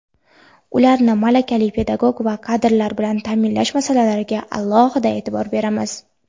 ularni malakali pedagog kadrlar bilan ta’minlash masalalariga alohida e’tibor beramiz.